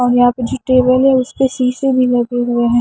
और यहां पे जो टेबल है उस पर शीशे भी लगे हुए हैं।